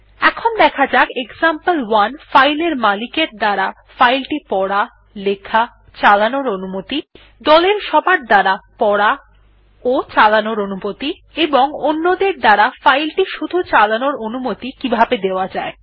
এখন দেখা যাক এক্সাম্পল1 ফাইল এর মালিকের দ্বারা ফাইল টি পড়া লেখাচালানোর অনুমতি দলের সবার দ্বারা পড়াচালানোর অনুমতি এবং অন্যদের দ্বারা ফাইল টি শুধু চালানোর অনুমতি কিভাবে দেওয়া যায়